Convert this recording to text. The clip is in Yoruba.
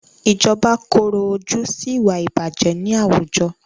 Ìjọba korò ojú sí ìwà ìbàjẹ́ ní àwùjọ.